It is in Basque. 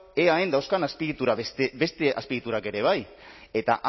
eaen dauzkan beste azpiegiturak ere bai eta